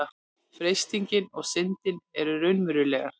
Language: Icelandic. freistingin og syndin eru raunverulegar